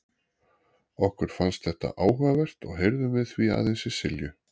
Okkur fannst þetta áhugavert og heyrðum við því aðeins í Silju.